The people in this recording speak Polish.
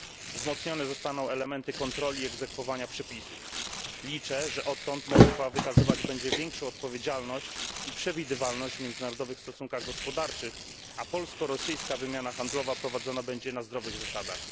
Wzmocnione zostaną elementy kontroli i egzekwowania przepisów. Liczę, że odtąd Moskwa wykazywać będzie większą odpowiedzialność i przewidywalność w międzynarodowych stosunkach gospodarczych, a polsko rosyjska wymiana handlowa prowadzona będzie na zdrowych zasadach.